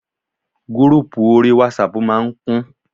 Gúrúpù orí wásapù ma ń kún.